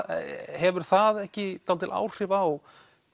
hefur það ekki dálítil áhrif á